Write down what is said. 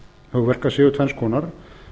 hugverka séu tvenns konar